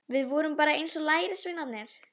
Við vorum bara eins og lærisveinarnir.